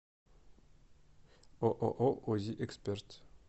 ооо узи эксперт